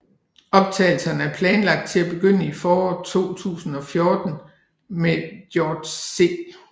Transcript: Optagelserne er planlagt til at begynde i foråret 2014 med George C